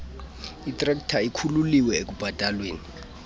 itrekta ikhululiwe ekubhataleni